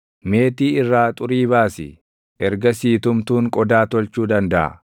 Meetii irraa xurii baasi; ergasii tumtuun qodaa tolchuu dandaʼa.